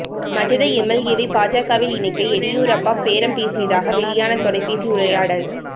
மஜத எம்எல்ஏவை பாஜகவில் இணைக்க எடியூரப்பா பேரம் பேசியதாக வெளியான தொலைபேசி உரையாடல்